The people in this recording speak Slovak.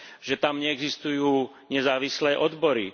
Že tam neexistujú nezávislé odbory.